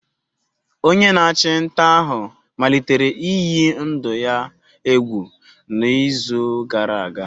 Onye na-achụ nta ahụ malitere iyi ndụ ya egwu n'izu gara aga.